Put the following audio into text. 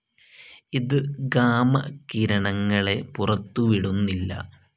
ഇത് ഗാമ കിരണങ്ങളെ പുറത്തുവിടുന്നില്ല.